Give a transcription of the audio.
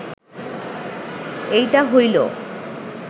এইটা হইল